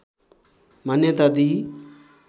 मान्यता दिई